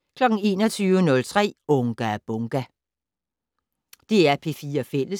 DR P4 Fælles